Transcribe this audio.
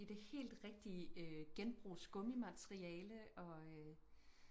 i det helt rigtige øh genbrugsgummi materiale og øh